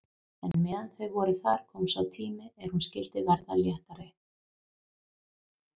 En meðan þau voru þar kom sá tími er hún skyldi verða léttari.